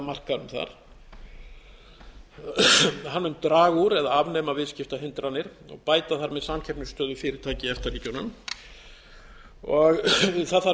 markaðnum þar hann mun draga úr eða afnema viðskiptahindranir og bæta þar með samkeppnisstöðu fyrirtækja í efta ríkjunum það þarf